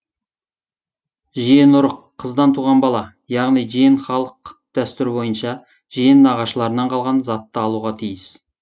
жиенұрық қыздан туған бала яғни жиен халық дәстүрі бойынша жиен нағашыларынан қалған затты алуға тиіс